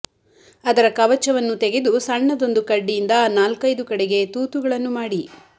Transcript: ಅದರ ಕವಚವನ್ನು ತೆಗೆದು ಸಣ್ಣದೊಂದು ಕಡ್ಡಿಯಿಂದ ನಾಲ್ಕೈದು ಕಡೆಗೆ ತೂತುಗಳನ್ನು ಮಾಡಿ